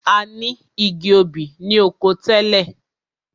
A ni igi obì ni oko wa tẹ́lẹ̀.